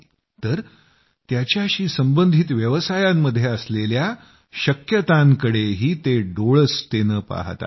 तर त्याच्याशी संबंधित व्यवसायांमध्ये असलेल्या शक्यतांकडेही ते डोळसतेनं पहात आहेत